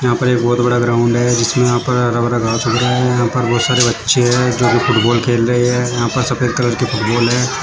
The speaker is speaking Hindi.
यहां पर एक बहुत बड़ा ग्राउंड है जिसमें यहां पर हरा भरा घास उग रहा है यहां पर बहुत सारे बच्चे हैं जो की फुटबॉल खेल रहे हैं यहां पर सफेद कलर की फुटबॉल है।